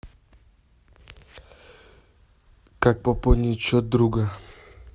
как пополнить счет друга